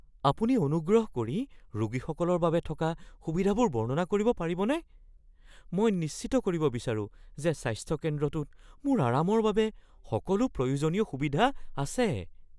আপুনি অনুগ্ৰহ কৰি ৰোগীসকলৰ বাবে থকা সুবিধাবোৰ বৰ্ণনা কৰিব পাৰিবনে? মই নিশ্চিত কৰিব বিচাৰো যে স্বাস্থ্য কেন্দ্ৰটোত মোৰ আৰামৰ বাবে সকলো প্ৰয়োজনীয় সুবিধা আছে।